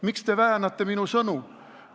Miks te väänate minu sõnu?